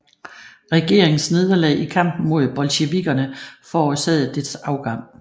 Regeringens nederlag i kampen mod bolsjevikkerne forårsagede dets afgang